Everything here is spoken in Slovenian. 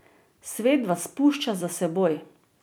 Svet vas pušča za seboj.